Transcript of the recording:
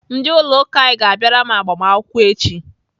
Ndị ụlọ ụka anyị ga-abịara m agbamakwụkwọ echi.